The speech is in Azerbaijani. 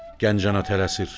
Gənc ana tələsir.